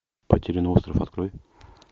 потерянный остров открой